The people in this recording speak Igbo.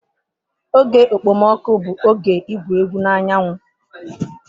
Oge okpomọkụ bụ oge igwu egwu na anyanwụ.